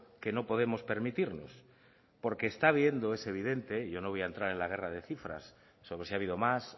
que no podemos permitirnos porque está habiendo es evidente y yo no voy a entrar en la guerra de cifras sobre si ha habido más